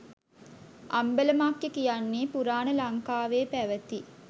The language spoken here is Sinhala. අම්බලමක්ය කියන්නේ පුරාණ ලංකාවේ පැවති